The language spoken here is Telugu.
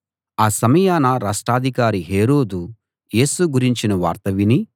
ఆ సమయాన రాష్ట్రాధికారి హేరోదు యేసు గురించిన వార్త విని